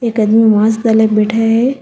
एक आदमी मास्क अलग बैठा है।